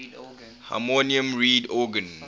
harmonium reed organ